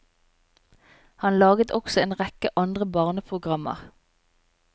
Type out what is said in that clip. Han laget også en rekke andre barneprogrammer.